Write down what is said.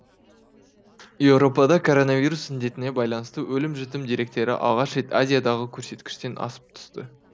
еуропада коронавирус індетіне байланысты өлім жітім деректері алғаш рет азиядағы көрсеткіштен асып түсті